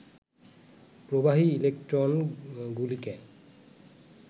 প্রবাহী ইলেক্ট্রনগুলিকে